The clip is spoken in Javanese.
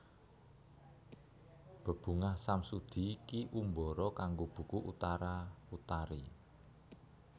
Bebungah Samsudi Ki Umbara kanggo buku Utara Utari